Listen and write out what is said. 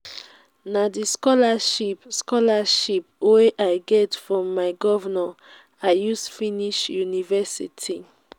na di scholarship scholarship wey i get from my governor i use finish university.